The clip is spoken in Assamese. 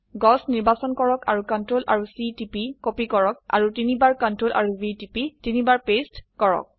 গছ নিৰ্বাচন কৰক আৰু ctrl আৰু C টিপি কপি কৰক আৰু তিনবাৰ Ctrl আৰু V টিপি তিনিবাৰ পেস্ট কৰক